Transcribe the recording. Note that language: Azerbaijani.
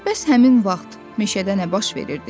Bəs həmin vaxt meşədə nə baş verirdi?